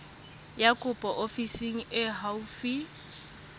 ya kopo ofising e haufi